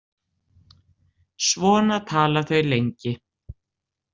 Svona tala þau lengi.